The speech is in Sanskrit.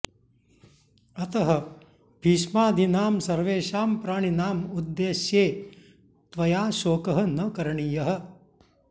अतः भीष्मादीनां सर्वेषां प्राणिनाम् उद्देश्ये त्वया शोकः न करणीयः